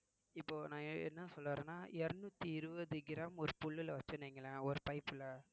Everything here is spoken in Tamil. இப்போ நான் என்ன சொல்ல வர்றேன்னா இருநூத்தி இருபது கிராம் ஒரு புல்லுல வச்சோம்னு வைங்களேன் ஒரு pipe ல